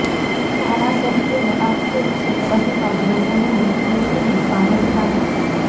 ધારાસભ્યોનો આક્ષેપ છે કે અધિકારીઓ અને મંત્રીઓ તેમનું સાંભડતા નથી